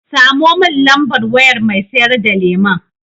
Samo mun lambar wayar mai sayar da lemon.